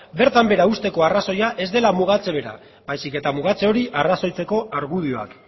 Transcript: bertan behera uzteko arrazoia ez dela mugatze bera baizik eta mugatze hori arrazoitzeko argudioak